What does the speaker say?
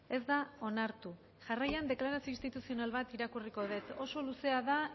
ez da onartu jarraian deklarazio instituzional bat irakurriko dut oso luzea da